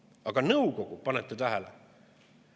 Aga nõukogu – panete tähele?